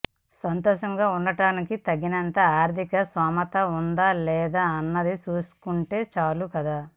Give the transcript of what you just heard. సంతోషంగా ఉండటానికి తగినంత ఆర్థిక స్థోమత ఉందా లేదా అన్నది చూసుకుంటే చాలు కదా